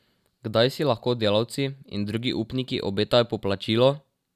Kdaj si lahko delavci in drugi upniki obetajo poplačilo?